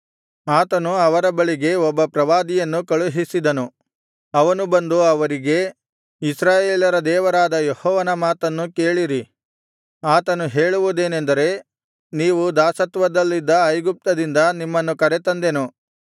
ಆತನು ಅವರ ಬಳಿಗೆ ಒಬ್ಬ ಪ್ರವಾದಿಯನ್ನು ಕಳುಹಿಸಿದನು ಅವನು ಬಂದು ಅವರಿಗೆ ಇಸ್ರಾಯೇಲರ ದೇವರಾದ ಯೆಹೋವನ ಮಾತನ್ನು ಕೇಳಿರಿ ಆತನು ಹೇಳುವುದೇನೆಂದರೆ ನೀವು ದಾಸತ್ವದಲ್ಲಿದ್ದ ಐಗುಪ್ತದಿಂದ ನಿಮ್ಮನ್ನು ಕರೆತಂದೆನು